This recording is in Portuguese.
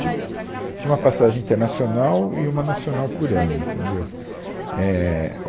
Tipo, tinha uma passagem internacional e uma nacional por ano. entendeu, éh